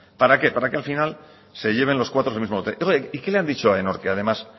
para qué para que el final se lleven los cuatro el mismo lote y qué le han dicho a aenor que además